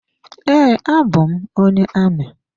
Ee, abụ m onye amị.